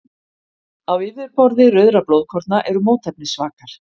Á yfirborði rauðra blóðkorna eru mótefnisvakar.